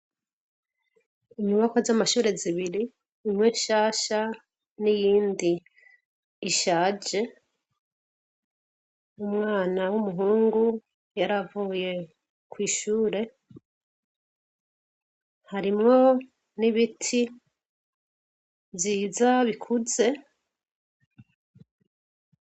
Inyubakwa z'amashure zibiri, imwe shasha, n'iyindi ishaje, umwana w'umuhungu yaravuye kw' ishure ,harimwo n'ibiti vyiza bikuze,